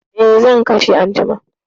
Eh, zan kashe anjima.